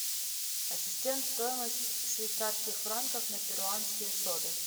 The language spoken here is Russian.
ассистент стоимость швейцарских франков на перуанские соли